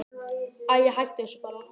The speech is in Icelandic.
Æi, hættu þessu bara.